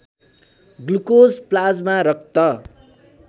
glucose plasma रक्त